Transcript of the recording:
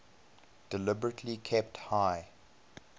deliberately kept high